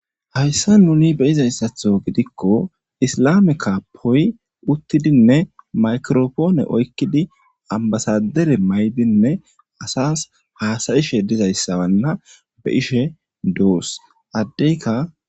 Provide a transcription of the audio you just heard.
hayssa nuni beyizayssatho gidikko islame kaapoy uttidinne makiropoone oykkidi ambasadere maydinne asas haasayishe dizayssanna be'ishe doos addeyka